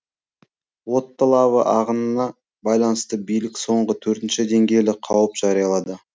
отты лава ағынына байланысты билік соңғы төртінші деңгейлі қауіп жариялады